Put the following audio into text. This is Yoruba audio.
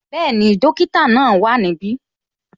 Bẹẹni, dókítà náà wá ní ibi